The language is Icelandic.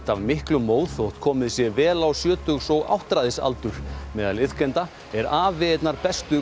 af miklum móð þótt komið sé vel á sjötugs og áttræðisaldur meðal iðkenda er afi einnar bestu